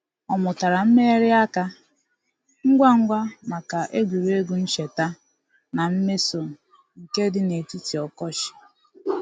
Ọ mụtara mmegharị aka ngwa ngwa maka egwuregwu ncheta na mmeso nke di n'etiti ọkọchị.